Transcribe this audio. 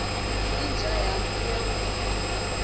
inja yami iyagula